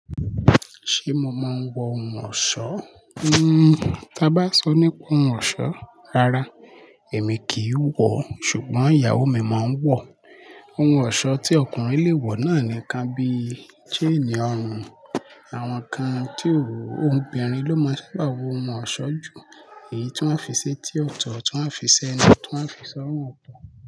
Ṣé mo máa ń wọ ohun ọ̀ṣọ́? Tí a bá sọ nípa ohun ọ̀ṣọ́, rárá, èmi kì í wọ̀, ṣùgbọ́n ìyàwó mi máa ń wọ̀. Ohun eṣọ́ tí ọkùnrin le wọ̀ náà nìkan bí i seenì ọrùn, àwọn kan tí ò wọ̀, obìnrin ló máa ń sábà wo ohun ọ̀ṣọ́ jù. Èyí tí wọ́n á fi ṣe ti ọ̀tọ̀, tí wọ́n á fi ṣẹnu, tí wọ́n á fi sọ orùn ọ̀tọ̀